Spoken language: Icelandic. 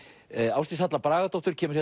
Ásdís Halla Bragadóttir kemur